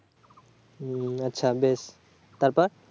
হু আচ্ছা বেশ তারপর